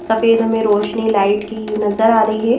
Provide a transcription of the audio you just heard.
सफेद हमें रोशनी लाइट की नजर आ रही है।